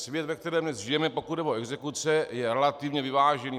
Svět, ve kterém dnes žijeme, pokud jde o exekuce, je relativně vyvážený.